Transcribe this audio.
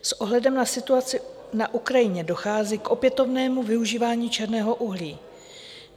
S ohledem na situaci na Ukrajině dochází k opětovnému využívání černého uhlí.